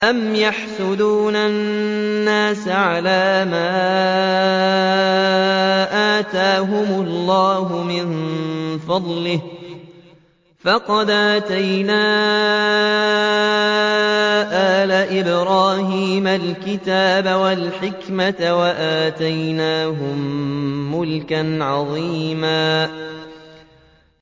أَمْ يَحْسُدُونَ النَّاسَ عَلَىٰ مَا آتَاهُمُ اللَّهُ مِن فَضْلِهِ ۖ فَقَدْ آتَيْنَا آلَ إِبْرَاهِيمَ الْكِتَابَ وَالْحِكْمَةَ وَآتَيْنَاهُم مُّلْكًا عَظِيمًا